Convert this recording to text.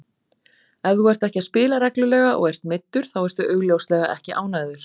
Ef þú ert ekki að spila reglulega og ert meiddur þá ertu augljóslega ekki ánægður.